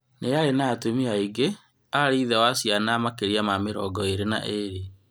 Nĩ arĩ na atumia aingĩ, arĩ ithe wa ciana makĩria ma mĩrongo ĩrĩ na ĩrĩ